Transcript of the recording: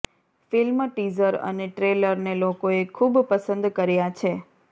ફિલ્મના ટીઝર અને ટ્રેલરને લોકોએ ખૂબ પસંદ કર્યા છે